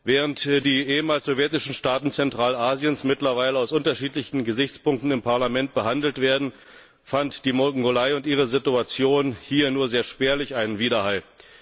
Während die ehemals sowjetischen Staaten Zentralasiens mittlerweile unter unterschiedlichen Gesichtspunkten im Parlament behandelt werden, fand die Mongolei und ihre Situation hier nur einen sehr spärlichen Widerhall.